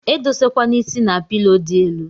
Edose kwana is na pilo di elu.